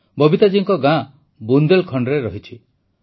ବବିତା ଜୀଙ୍କ ଗାଁ ବୁନ୍ଦେଲଖଣ୍ଡରେ ଅଛି